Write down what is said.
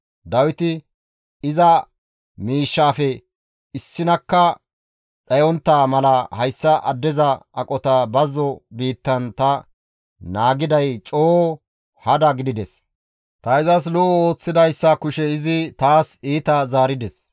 Dawiti, «Iza miishshafe issinakka dhayontta mala hayssa addeza aqota bazzo biittan ta naagiday coo hada gidides. Ta izas lo7o ooththidayssa kushe izi taas iita zaarides.